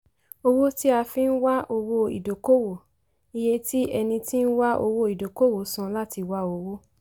owó tí a fi nwá owó ìdókòwò - iye tí ẹni tí ń wá owó ìdókòwò san láti wá owó.